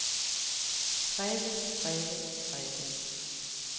grebet grebet grebet